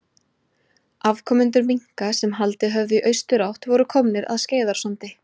Afkomendur minka sem haldið höfðu í austurátt voru komnir að Skeiðarársandi.